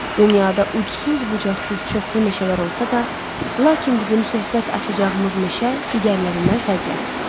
Dünyada ucsuz-bucaqsız çoxlu meşələr olsa da, lakin bizim söhbət açacağımız meşə digərlərindən fərqlənir.